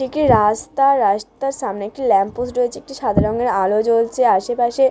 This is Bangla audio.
এটি রাস্তা রাস্তার সামনে একটি ল্যাম্প পোস্ট রয়েছে। একটি সাদা রঙের আলো জ্বলছে আশেপাশে--